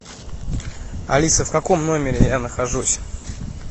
алиса в каком номере я нахожусь